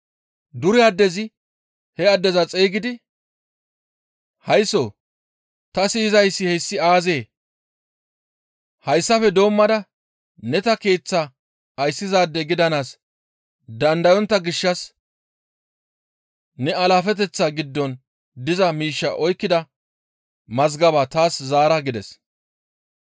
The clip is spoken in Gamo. Dure addezi he addeza xeygidi, ‹Haysso ta siyizayssi hessi aazee? Hayssafe doommada ne ta keeththaa ayssizaade gidanaas dandayontta gishshas ne alaafeteththan giddon diza miishshaa oykkida mazgabaa taas zaara› gides.